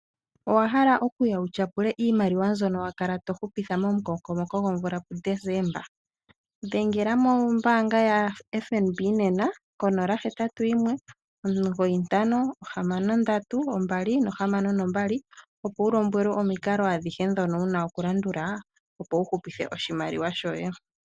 Owahala okuuya utyapule iimaliwa mbyono wakala tohupitha momukokomoko womvula pu Desemba? Dhengela mombaanga ya FNB nena, 0819563262, opo ulombwelwe omikalo adhihe ndhono una okulandula, opo uhupithe oshimaliwa shoye.